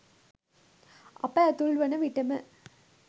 අප ඇතුල් වන විට ම